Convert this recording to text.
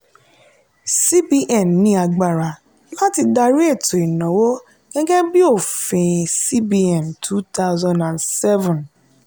cbn ní agbára láti dárí ètò ìnáwó gẹ́gẹ́ bí òfin cbn two thousand seven.